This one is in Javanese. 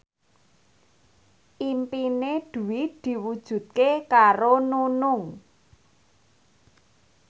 impine Dwi diwujudke karo Nunung